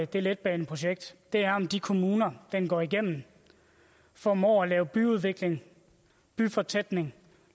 det letbaneprojekt er om de kommuner den går igennem formår at lave byudvikling byfortætning